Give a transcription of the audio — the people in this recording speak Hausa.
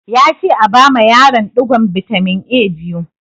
Ya ce a bama yaron ɗigon bitamin A biyu!